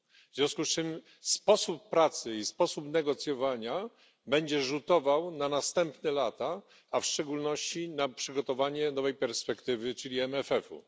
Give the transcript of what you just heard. W związku z czym sposób pracy i sposób negocjowania będzie rzutował na następne lata, a w szczególności na przygotowanie nowej perspektywy, czyli MFF ów.